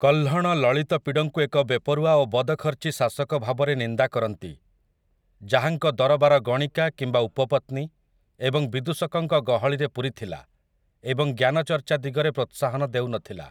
କହ୍ଲଣ ଲଲିତପିଡ଼ଙ୍କୁ ଏକ ବେପରୁଆ ଓ ବଦଖର୍ଚ୍ଚୀ ଶାସକ ଭାବରେ ନିନ୍ଦା କରନ୍ତି, ଯାହାଙ୍କ ଦରବାର ଗଣିକା କିମ୍ବା ଉପପତ୍ନୀ ଏବଂ ବିଦୂଷକଙ୍କ ଗହଳିରେ ପୂରିଥିଲା, ଏବଂ ଜ୍ଞାନଚର୍ଚ୍ଚା ଦିଗରେ ପ୍ରୋତ୍ସାହନ ଦେଉନଥିଲା ।